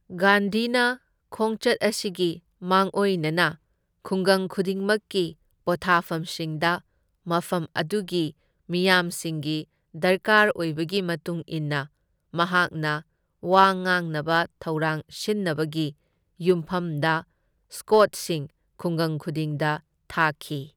ꯒꯥꯟꯙꯤꯅ ꯈꯣꯡꯆꯠ ꯑꯁꯤꯒꯤ ꯃꯥꯡꯑꯣꯏꯅꯅ ꯈꯨꯡꯒꯪ ꯈꯨꯗꯤꯡꯃꯛꯀꯤ ꯄꯣꯊꯥꯐꯝꯁꯤꯡꯗ ꯃꯐꯝ ꯑꯗꯨꯒꯤ ꯃꯤꯌꯥꯝꯁꯤꯡꯒꯤ ꯗꯔꯀꯥꯔ ꯑꯣꯏꯕꯒꯤ ꯃꯇꯨꯡ ꯏꯟꯅ ꯃꯍꯥꯛꯅ ꯋꯥ ꯉꯥꯡꯅꯕ ꯊꯧꯔꯥꯡ ꯁꯤꯟꯅꯕꯒꯤ ꯌꯨꯝꯐꯝꯗ ꯁ꯭ꯀꯣꯎꯠꯁꯤꯡ ꯈꯨꯡꯒꯪ ꯈꯨꯗꯤꯡꯗ ꯊꯥꯈꯤ꯫